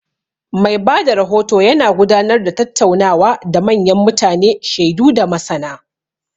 Mai ba da rahoto yana gudanar da tattaunawa da manyan mutane, shaidu, da masana.